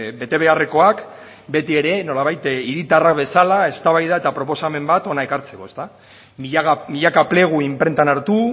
betebeharrekoak beti ere nolabait hiritarrak bezala eztabaida eta proposamena bat hona ekartzeko milaka plegu inprentan hartu